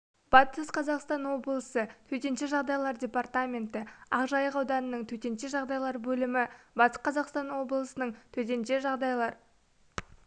батыс қазақстан облысы төтенше жағдайлар департаменті ақжайық ауданының төтенше жағдайлар бөлімі батыс қазақстан облысының төтенше жағдайлар